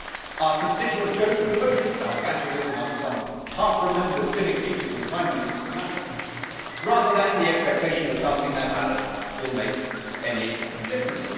Our constituents go through the motions out of atavism, out of some half remembered civic duty from the time when it used to matter, rather than in the expectation that casting their ballot will make any difference.